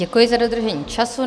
Děkuji za dodržení času.